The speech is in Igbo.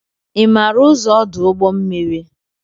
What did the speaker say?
Ị maara ụzọ ọdụ ụgbọ mmiri